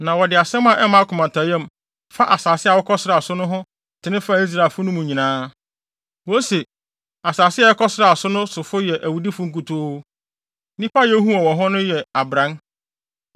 Na wɔde asɛm a ɛmma akomatɔyam fa asase a wɔkɔsraa so no ho tene faa Israelfo no mu nyinaa. Wose, “Asase a yɛkɔsraa so no sofo no yɛ awudifo nkutoo. Nnipa a yehuu wɔn wɔ hɔ no yɛ abran.